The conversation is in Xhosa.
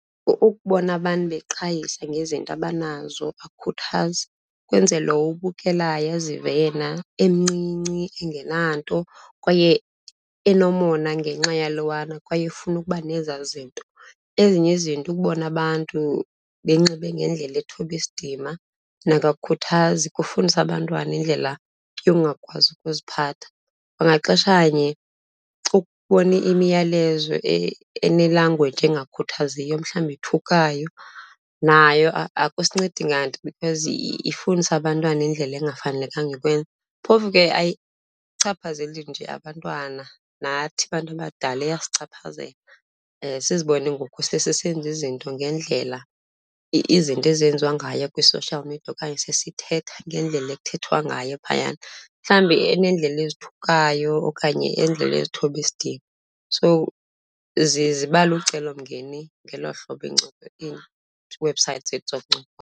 Ukubona abantu beqhayisa ngezinto abanazo akukhuthazi, kwenza lo ubukela azive yena emncinci engenanto kwaye enomona ngenxa yalowana kwaye efuna ukuba nezaa zinto. Ezinye izinto, ukubona abantu benxibe ngendlela ethoba isidima. Nako akukhuthazi, kufundisa abantwana indlela yokungakwazi ukuziphatha. Kwangaxeshanye ukubona imiyalezo ene-language engakhuthaziyo, mhlawumbi ethukayo nayo akusincedi nganto, because ifundisa abantwana indlela engafanelekanga ukwenza. Phofu ke ayichaphazeli nje abantwana, nathi abantu abadala iyasichaphazela. Sizibone ngoku sesisenza izinto ngendlela izinto ezenziwa ngayo kwi-social media. Okanye sesithetha ngendlela ekuthethwa ngayo phayana, mhlawumbi eneendlela ezithukayo okanye iindlela ezithoba isidima. So ziba lucelomngeni ngelo hlobo ii-websites zethu zokuncokola.